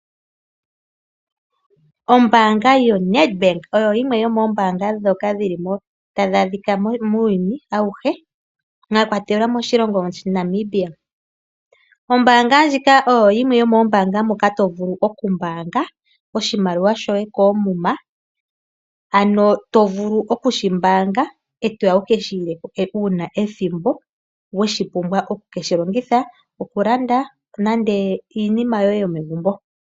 Ombanga yoNedbank oyo yimwe yomombanga dhoka dhili mo tadhi adhika muuyuni awuhe. Mwakwatelwa moshilongo Namibia. Ombanga ndjika oyo yimwe yomoombanga moka to vulu oku mbaanga oshimaliwa shoye koomuma. Ano to vulu okushi mbaanga etoya wukeshi ileko una ethimbo weshi pumbwa oku keshi longitha, oku landa nande iinima yoye yomegumbo.